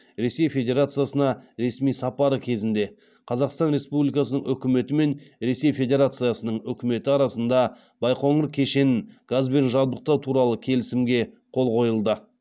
ресей федерациясына ресми сапары кезінде қазақстан республикасының үкіметі мен ресей федерациясының үкіметі арасында байқоңыр кешенін газбен жабдықтау туралы келісімге қол қойылды